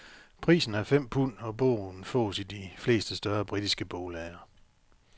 Prisen er fem pund, og bogen fås i de fleste større britiske boglader.